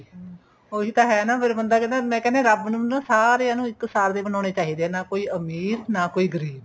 ਉਹੀ ਤਾਂ ਹੈ ਫ਼ੇਰ ਬੰਦਾ ਕਹਿੰਦਾ ਰੱਬ ਨੂੰ ਨਾ ਸਾਰਿਆਂ ਨੂੰ ਇੱਕ ਸਾਰ ਦੇ ਬਣਾਉਣੇ ਚਾਹੀਦੇ ਨੇ ਨਾ ਕੋਈ ਅਮੀਰ ਨਾ ਕੋਈ ਗਰੀਬ